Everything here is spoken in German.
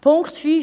Punkt 5